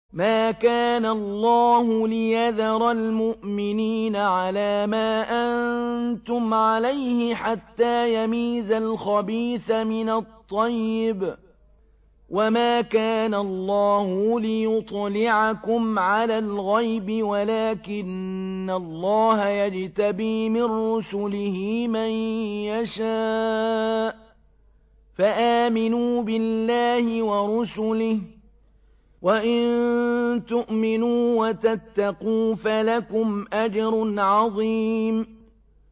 مَّا كَانَ اللَّهُ لِيَذَرَ الْمُؤْمِنِينَ عَلَىٰ مَا أَنتُمْ عَلَيْهِ حَتَّىٰ يَمِيزَ الْخَبِيثَ مِنَ الطَّيِّبِ ۗ وَمَا كَانَ اللَّهُ لِيُطْلِعَكُمْ عَلَى الْغَيْبِ وَلَٰكِنَّ اللَّهَ يَجْتَبِي مِن رُّسُلِهِ مَن يَشَاءُ ۖ فَآمِنُوا بِاللَّهِ وَرُسُلِهِ ۚ وَإِن تُؤْمِنُوا وَتَتَّقُوا فَلَكُمْ أَجْرٌ عَظِيمٌ